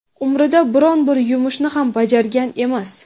umrida biron-bir yumushni ham bajargan emas.